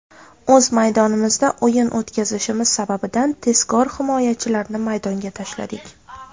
O‘z maydonimizda o‘yin o‘tkazishimiz sababidan tezkor himoyachilarni maydonga tashladik.